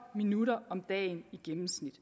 minutter om dagen i gennemsnit